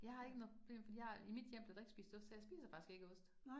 Jeg har ikke noget problem fordi jeg i mit hjem blev der ikke spist ost, så jeg spiser faktisk ikke ost